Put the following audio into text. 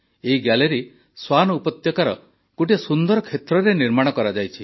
ଏହି ଗ୍ୟାଲେରୀ ସ୍ୱାନ୍ ଉପତ୍ୟକାର ଗୋଟିଏ ସୁନ୍ଦର କ୍ଷେତ୍ରରେ ନିର୍ମାଣ କରାଯାଇଛି